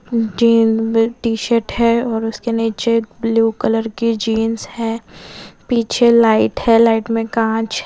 gene विल T shirt है और उसके नीचे एक ब्लू कलर की जींस है पीछे लाइट है लाइट में कांच--